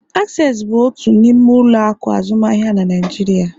Access bụ otu n'ime ụlọ akụ azụmaahịa na nigeria.